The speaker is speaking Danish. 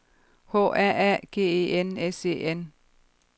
H A A G E N S E N